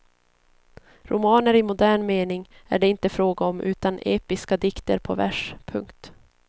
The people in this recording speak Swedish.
Romaner i modern mening är det inte fråga om utan episka dikter på vers. punkt